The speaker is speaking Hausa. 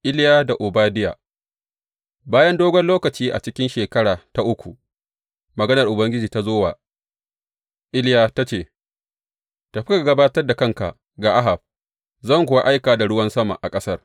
Iliya da Obadiya Bayan dogon lokaci, a cikin shekara ta uku, maganar Ubangiji ta zo wa Iliya, ta ce, Tafi, ka gabatar da kanka ga Ahab, zan kuwa aika da ruwan sama a ƙasar.